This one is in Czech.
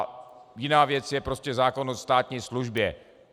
A jiná věc je prostě zákon o státní službě.